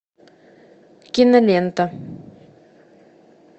кинолента